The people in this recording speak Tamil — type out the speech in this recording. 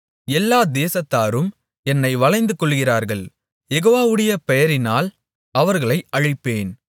எல்லா தேசத்தாரும் என்னை வளைந்துகொள்ளுகிறார்கள் யெகோவாவுடைய பெயரினால் அவர்களை அழிப்பேன்